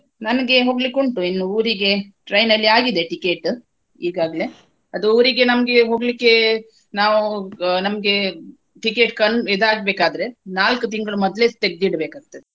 ನನಗೆ ಹೋಗ್ಲಿಕ್ಕುಂಟು ಇನ್ನು ಊರಿಗೆ train ಅಲ್ಲಿ ಆಗಿದೆ ticket ಈಗಾಗ್ಲೆ. ಅದು ಊರಿಗೆ ನಮ್ಗೆ ಹೋಗ್ಲಿಕ್ಕೆ ನಾವು ನಮ್ಗೆ ticket con~ ಇದಾಗ್ಬೇಕಾದ್ರೆ ನಾಲ್ಕು ತಿಂಗಳು ಮೊದ್ಲೇ ತೆಗ್ದಿಡ್ಬೇಕಾಗ್ತದೆ.